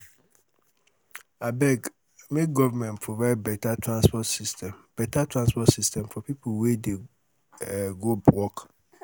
abeg make government provide beta transport system beta transport system for people wey dey um go work.